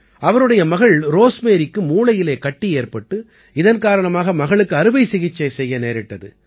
அவருடைய மகள் ரோஸ்மேரிக்கு மூளையிலே கட்டி ஏற்பட்டு இதன் காரணமாக மகளுக்கு அறுவை சிகிச்சை செய்ய நேரிட்டது